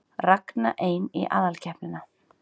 Ragna ein í aðalkeppnina